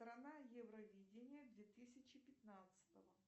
страна евровидения две тысячи пятнадцатого